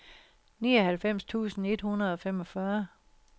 nioghalvfems tusind et hundrede og femogfyrre